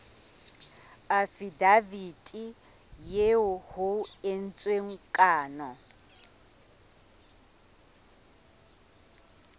afidaviti eo ho entsweng kano